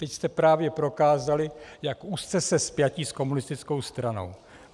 Teď jste právě prokázali, jak úzce jste spjati s komunistickou stranou.